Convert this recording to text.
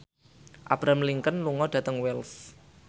Abraham Lincoln lunga dhateng Wells